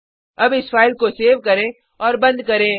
अब इस फाइल को सेव करें और बंद करें